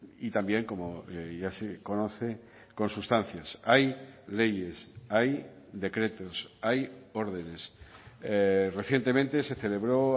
y también como ya se conoce con sustancias hay leyes hay decretos hay órdenes recientemente se celebró